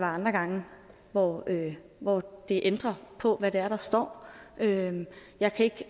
andre gange hvor hvor det ændrer på hvad det er der står jeg kan ikke